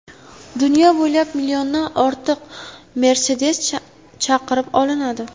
Dunyo bo‘ylab milliondan ortiq Mercedes chaqirib olinadi.